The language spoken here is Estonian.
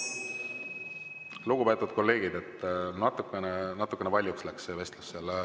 Lugupeetud kolleegid, natukene valjuks läks see vestlus seal.